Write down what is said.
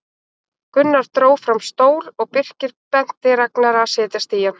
Gunnar dró fram stól og Birkir benti Ragnari að setjast í hann.